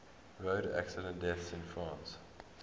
road accident deaths in france